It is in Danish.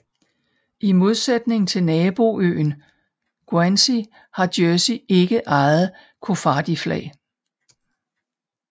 I modsætning til naboøen Guernsey har Jersey ikke eget koffardiflag